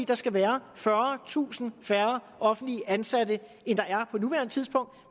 der skal være fyrretusind færre offentligt ansatte end der er på nuværende tidspunkt